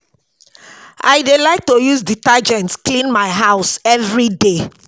I dey like to use detergent clean my house everyday